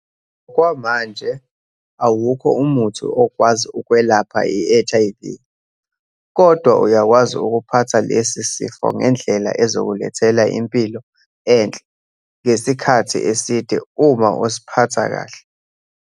Ngokwamanje awukho umuthi okwazi ukwelapha iHIV, kodwa uyakwazi ukuphatha lesi sifo ngendlela ezokulethela impilo enhle ngesikhathi eside uma usiphatha kahle.